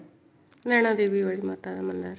ਨੈਣਾ ਦੇਵੀ ਵਾਲੀ ਮਾਤਾ ਦਾ ਮੰਦਰ